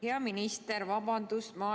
Hea minister, vabandust!